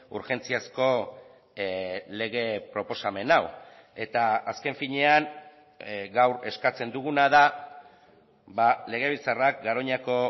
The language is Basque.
urgentziazko lege proposamen hau eta azken finean gaur eskatzen duguna da legebiltzarrak garoñako